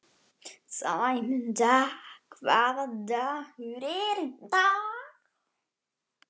Sæmunda, hvaða dagur er í dag?